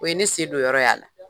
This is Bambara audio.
O ye ne sen don yɔrɔ y' a la.